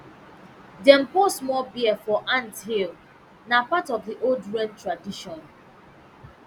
dem pour small beer for ant hill na part of the old rain tradition